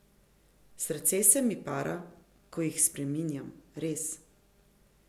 Srce se mi para, ko jih spreminjam, res.